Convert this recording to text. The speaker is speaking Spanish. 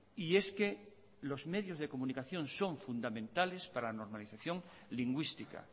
y es que los medios de comunicación son fundamentales para la normalización lingüística